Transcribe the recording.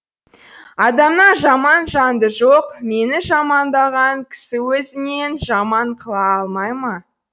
адамнан жаман жанды жоқ мені жамандаған кісі өзінен жаман қыла алмай ма